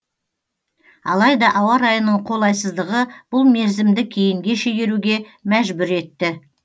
алайда ауа райының қолайсыздығы бұл мерзімді кейінге шегеруге мәжбүр етті